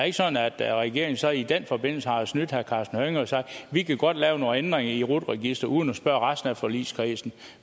ikke sådan at regeringen så i den forbindelse har snydt herre karsten hønge og har sagt vi kan godt lave nogle ændringer i rut registeret uden at spørge resten af forligskredsen